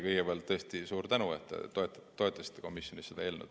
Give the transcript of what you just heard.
Kõigepealt tõesti suur tänu, et te toetasite komisjonis seda eelnõu!